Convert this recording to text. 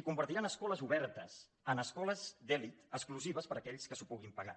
i convertiran escoles obertes en escoles d’elit exclusives per a aquells que s’ho puguin pagar